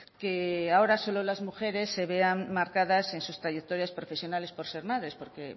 que ahora solo las mujeres se vean marcadas en sus trayectorias profesionales por ser madres porque